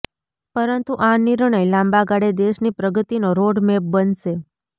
પરંતુ આ નિર્ણય લાંબાગાળે દેશની પ્રગતિનો રોડ મેપ બનશે